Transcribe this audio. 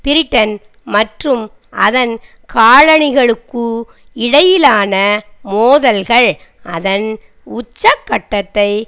Britain மற்றும் அதன் காலனிகளுக்கு இடையிலான மோதல்கள் அதன் உச்சகட்டத்தை